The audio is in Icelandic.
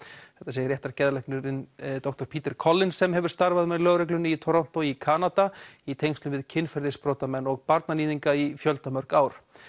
segir doktor Peter Collins sem hefur starfað með lögreglunni í Toronto í Kanada í tengslum við kynferðisbrotamenn og barnaníðinga í fjöldamörg ár